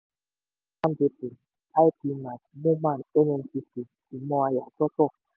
dappmandepot ipman moman nnpc (ìmọ̀ àyàsọ́tọ̀).